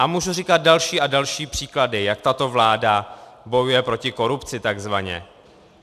A můžu říkat další a další příklady, jak tato vláda bojuje proti korupci, takzvaně.